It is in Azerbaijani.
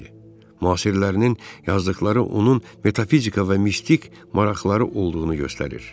Müasirlərinin yazdıqları onun metafizika və mistik maraqları olduğunu göstərir.